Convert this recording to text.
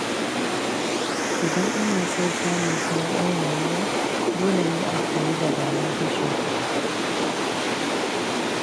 Idan ana son samun sauƙin rayuwa, dole ne a koyi dabarun kashe kuɗi.